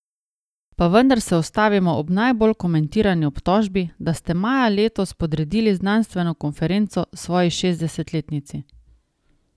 Pa vendar se ustavimo ob najbolj komentirani obtožbi, da ste maja letos podredili znanstveno konferenco svoji šestdesetletnici.